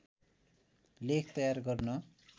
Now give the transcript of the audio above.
लेख तयार गर्न